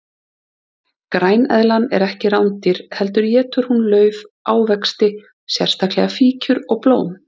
Græneðlan er ekki rándýr heldur étur hún lauf, ávexti, sérstaklega fíkjur og blóm.